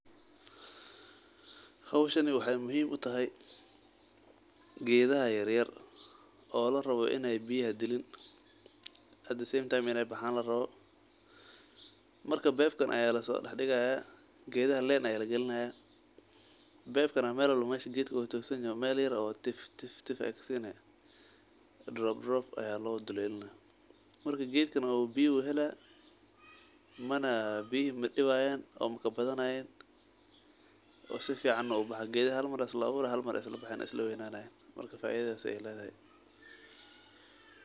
Hooshani waxay muhim utahay geedha yaryar oo larawo inay biyaha aay diliin at the same time inay baxan larawo, marka pipe kaan ayaa lasodaxdigaya, geedhaha line aya lagilinaya pipe kaan meel walba meesha geed ugutosoniho meel yaar oo tiftif ay kasini drop drop ayaa lodulelinaa marka geed kaan biyo hela mana biyo madiwayan oo makabadhanayan oo saficana ubaxa gedha halmar isla awoora halmar islabaxayan islaweynayan marka faidhaas ay ledhahay.